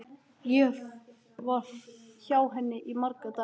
Ég var hjá henni í marga daga.